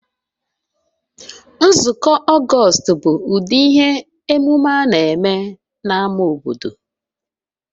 Nzukọ August bụ ụdị ihe omume a na-eme na ama obodo